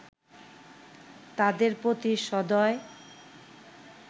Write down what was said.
তাদের প্রতি সদয়